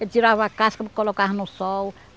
Ele tirava a casca e colocava no sol.